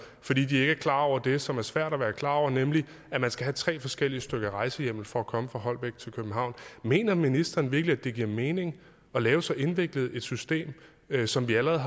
fordi de ikke er klar over det som er svært at være klar over nemlig at man skal have tre forskellige stykker rejsehjemmel for at komme fra holbæk til københavn mener ministeren virkelig det giver mening at lave så indviklet et system som vi allerede